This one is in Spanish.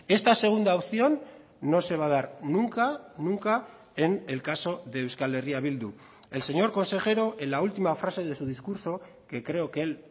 esta segunda opción no se va a dar nunca nunca en el caso de euskal herria bildu el señor consejero en la última frase de su discurso que creo que él